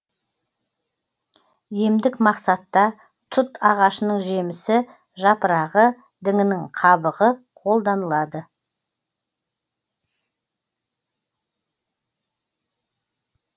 емдік мақсатта тұт ағашының жемісі жапырағы діңінің қабығы қолданылады